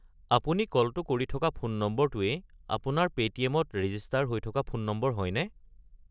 আপুনি কলটো কৰি থকা ফোন নম্বৰটোৱেই আপোনাৰ পে'টিএম-ত ৰেজিষ্টাৰ হৈ থকা ফোন নম্বৰ হয়নে?